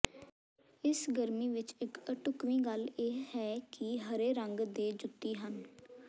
ਇਸ ਗਰਮੀ ਵਿੱਚ ਇੱਕ ਅਢੁੱਕਵੀਂ ਗੱਲ ਇਹ ਹੈ ਕਿ ਹਰੇ ਰੰਗ ਦੇ ਜੁੱਤੀ ਹਨ